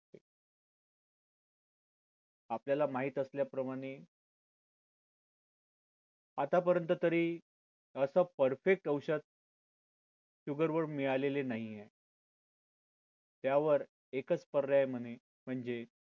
आपल्याला माहीत असल्या प्रमाणे आतापर्यंत तरी असं perfect औषध गूगल वर मिळालेले नाहीये यावर एकच पर्याय म्हणणे म्हणजे